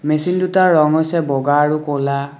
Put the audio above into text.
Machine দুটাৰ ৰং হৈছে বগা আৰু ক'লা।